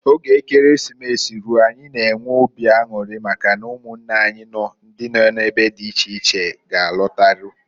Oge Ekeresimesi ruo anyị n'enwe obi anwụrị maka na ụmụnne anyi ndị nọ n'ebe di iche iche g'alarute.